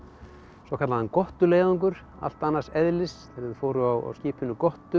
svokallaðan Gottuleiðangur allt annars eðlis þegar þeir fóru á skipinu